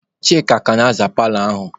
Chika ka na-aza paalọ ahụ.